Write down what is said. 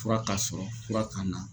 Fura k'a sɔrɔ fura k'a na.